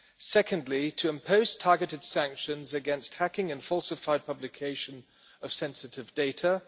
Secondly, to impose targeted sanctions against hacking and falsified publication of sensitive data.